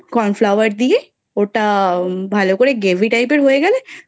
Cornflower দিয়ে ওটা ভালো করে Gravy Type এর হয়ে গেলে